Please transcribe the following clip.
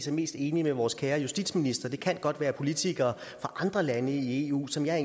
er mest enig med vores kære justitsminister det kan godt være politikere fra andre lande i eu som jeg